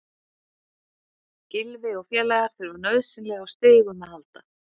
Gylfi og félagar þurfa nauðsynlega á stigum að halda.